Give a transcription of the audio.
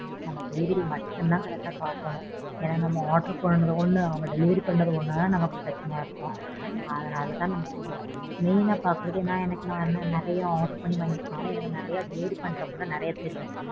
நம்ம delivery மட்டும் தான் correct ஆ பார்க்கணும். ஏன்னா நம்ம order பண்ணது ஒண்ணு delivery பண்ணது ஒண்ணுனா தான் நமக்கு பிரச்சனையா இருக்கும் அதுனாலதான் நான் main ஆ பார்க்கிறது நான் எனக்கு நறைய order பண்ணி வாங்கிருக்கேன்ல நறைய delivery பண்றவங்களும் நறைய தெரியும்.